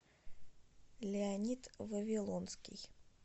леонид вавилонский